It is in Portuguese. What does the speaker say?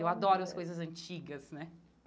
Eu adoro as coisas antigas, né?